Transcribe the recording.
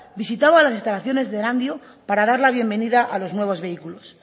visitaba las instalaciones de erandio para dar la bienvenida a los nuevos vehículos